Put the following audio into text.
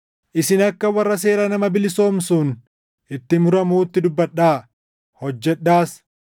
Isin akka warra seera nama bilisoomsuun itti muramuutti dubbadhaa; hojjedhaas;